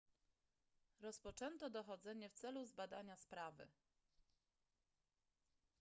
rozpoczęto dochodzenie w celu zbadania sprawy